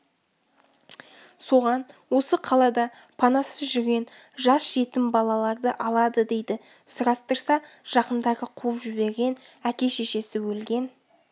соған осы қалада панасыз жүрген жас жетім балаларды алады дейді сұрастырса жақындары қуып жіберген әке-шешесі өлген